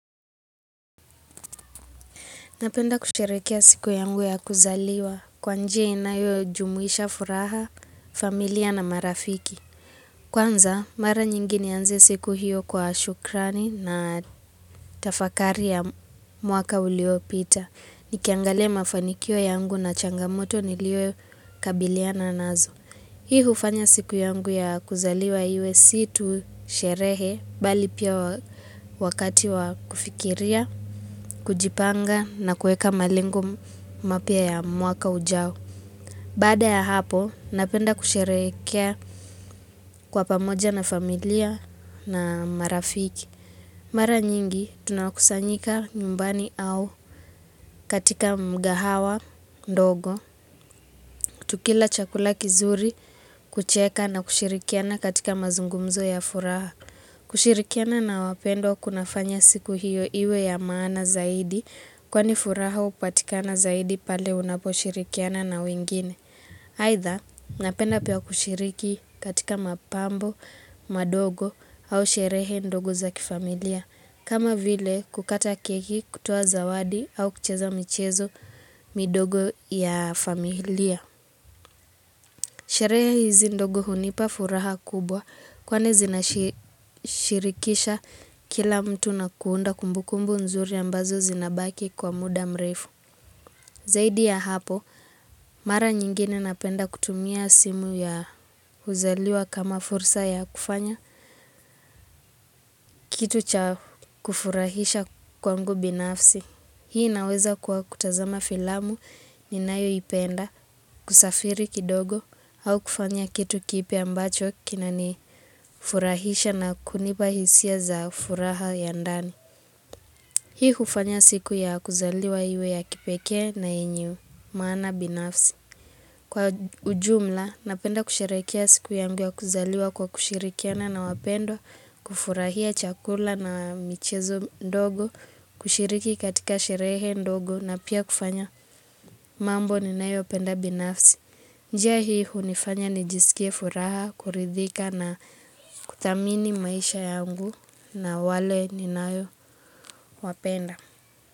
Napenda kusherekea siku yangu ya kuzaliwa kwa njia inayo jumuisha furaha, familia na marafiki. Kwanza, mara nyingi nianze siku hiyo kwa shukrani na tafakari ya mwaka uliopita. Nikiangalia mafanikio yangu na changamoto niliyo kabiliana nazo. Hii hufanya siku yangu ya kuzaliwa iwe si tu sherehe, bali pia wakati wa kufikiria, kujipanga na kueka malengo mapya ya mwaka ujao. Baada ya hapo, napenda kusherekea kwa pamoja na familia na marafiki. Mara nyingi, tunakusanyika nyumbani au katika mkahawa ndogo, tukila chakula kizuri, kucheka na kushirikiana katika mazungumzo ya furaha. Kushirikiana na wapendwa kunafanya siku hiyo iwe ya maana zaidi, kwani furaha hupatikana zaidi pale unapo shirikiana na wingine. Haitha, napenda pia kushiriki katika mapambo, madogo au sherehe ndogo za kifamilia. Kama vile kukata keki kutoa zawadi au kucheza michezo midogo ya familia. Sherehe hizi ndogo hunipa furaha kubwa kwani zinashirikisha kila mtu na kuunda kumbukumbu nzuri ambazo zinabaki kwa muda mrefu. Zaidi ya hapo, mara nyingine napenda kutumia siku ya kuzaliwa kama fursa ya kufanya kitu cha kufurahisha kwangu binafsi. Hii naweza kwa kutazama filamu ninayoipenda, kusafiri kidogo au kufanya kitu kipya ambacho kinanifurahisha na kunipa hisia za furaha ya ndani. Hii hufanya siku ya kuzaliwa iwe ya kipeke na yenye maana binafsi. Kwa ujumla, napenda kusherekea siku yangu ya kuzaliwa kwa kushirikiana na wapendwa, kufurahia chakula na michezo ndogo, kushiriki katika sherehe ndogo na pia kufanya mambo ninayo penda binafsi. Njia hii hunifanya nijisikie furaha, kuridhika na kutamini maisha yangu na wale ninao wapenda.